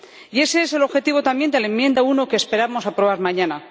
Y ese es el objetivo también de la enmienda 1 que esperamos aprobar mañana.